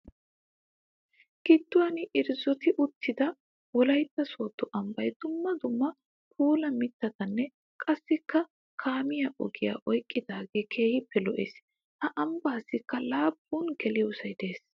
Giduwan irzzotti uttidda wolaytta soodo ambbay dumma dumma puula mittatanne qassikka kaamiya ogiya oyqqidaage keehippe lo'ees. Ha ambbasikka laapun geliyoosay de'ees.